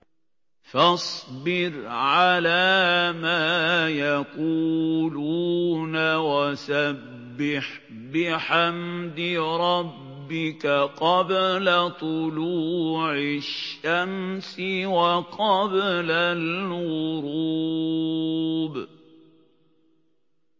فَاصْبِرْ عَلَىٰ مَا يَقُولُونَ وَسَبِّحْ بِحَمْدِ رَبِّكَ قَبْلَ طُلُوعِ الشَّمْسِ وَقَبْلَ الْغُرُوبِ